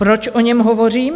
Proč o něm hovořím?